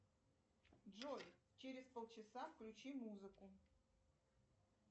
джой через пол часа включи музыку